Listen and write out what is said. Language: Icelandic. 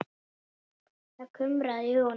Það kumraði í honum.